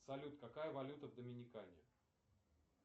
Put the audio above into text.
салют какая валюта в доминикане